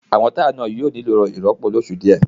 Àwọn táyà náà yóò nílò ìrọ́pò ní oṣù díẹ̀